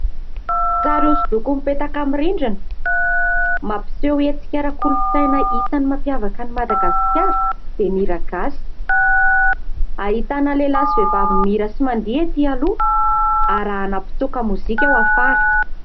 Sary hosodoko mipetaka aminy rindrina mampiseho hetsika ara-kolontsaina isany mampiavaka any Madagasikara dia ny hira gasy, ahitana lehilahy sy vehivavy mihira sy mandihy ety aloha arahana mpitsoka mozika ao afara.